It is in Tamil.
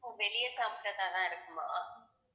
ஓ வெளிய சாப்பிட்டதாதான் இருக்குமா